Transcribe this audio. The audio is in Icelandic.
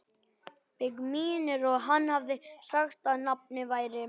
Mig minnir að hann hafi sagt að nafnið væri